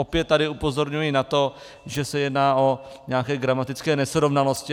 Opět tady upozorňuji na to, že se jedná o nějaké gramatické nesrovnalosti.